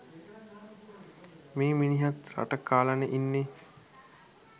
මේ මිනිහත් රට කාලනේ ඉන්නේ